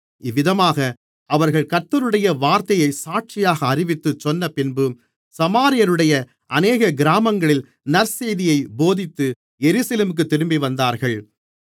இவ்விதமாக அவர்கள் கர்த்தருடைய வார்த்தையைச் சாட்சியாக அறிவித்துச் சொன்னபின்பு சமாரியருடைய அநேக கிராமங்களில் நற்செய்தியைப் போதித்து எருசலேமுக்குத் திரும்பிவந்தார்கள்